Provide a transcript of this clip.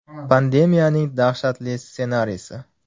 Pandemiyaning dahshatli ssenariysi.